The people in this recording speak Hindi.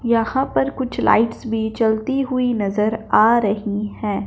यहां पर कुछ लाइट्स बी चलती हुई नजर आ रही हैं।